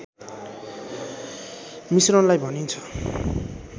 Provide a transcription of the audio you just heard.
मिश्रणलाई भनिन्छ